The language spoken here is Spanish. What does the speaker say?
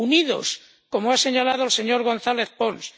unidos, como ha señalado el señor González Pons.